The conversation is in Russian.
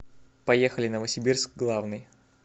поехали новосибирск главный